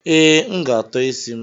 Ee, M ga-atọ isi m.